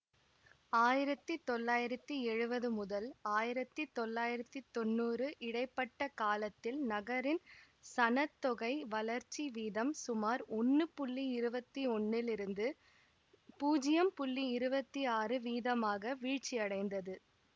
ஆயிரத்தி தொள்ளாயிரத்தி எழுவது முதல் ஆயிரத்தி தொள்ளாயிரத்தி தொன்னூறு இடை பட்ட காலத்தில் நகரின் சன தொகை வளர்ச்சி வீதம் சுமார் ஒன்னு புள்ளி இருவத்தி ஒன்னில் இருந்து பூஜ்யம் புள்ளி இருவத்தி ஆறு வீதமாக வீழ்ச்சி அடைந்தது